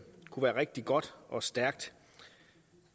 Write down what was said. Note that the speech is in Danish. rigtig god og stærk